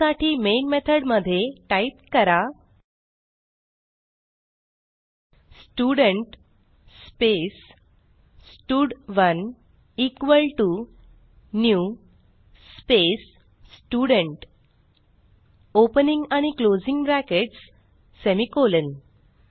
त्यासाठी मेन मेथडमध्ये टाईप करा student space stud one equal to new space student opening आणि क्लोजिंग ब्रॅकेट्स सेमिकोलॉन